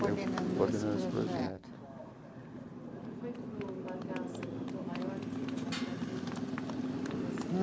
Coordenando esse projeto. Não foi duro largar as a Tom Maior, que você estava ligado desde a da formação?